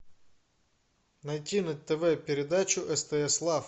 найти на тв передачу стс лав